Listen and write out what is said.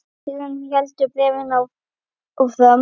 Síðan heldur bréfið áfram